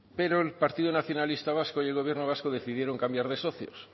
pero el partido nacionalista vasco y el gobierno vasco decidieron cambiar de socios